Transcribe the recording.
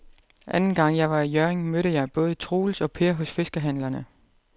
Anden gang jeg var i Hjørring, mødte jeg både Troels og Per hos fiskehandlerne.